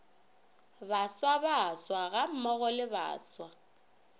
baswa baswa gammogo le baswa